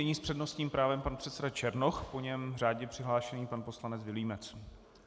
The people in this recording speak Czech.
Nyní s přednostním právem pan předseda Černoch, po něm řádně přihlášený pan poslanec Vilímec.